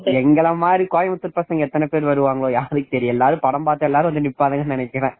எங்கள மாதிரி கோயம்புத்தூர் பசங்க எத்தனை பேர் வராங்கன்னு யாருக்கு தெரியும் எங்கள மாரி படம் பாத்தா எல்லாரும் வந்து நிப்பாங்க நினைக்கிறேன்